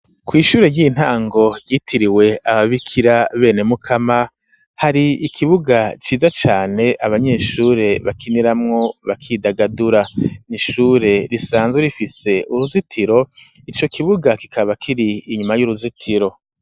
Kw'ishure ry'intango ryitiriwe ababikira bene Mukama, hari ikibuga ciza cane abanyeshure bakiniramwo, bakidagadura; ni ishure risanzwe rifise uruzitiro, ico kibuga kikaba kiri inyuma y'uruzitiro.